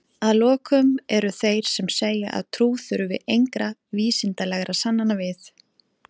Að lokum eru þeir sem segja að trú þurfi engra vísindalegra sannana við.